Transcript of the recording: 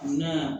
Ne ya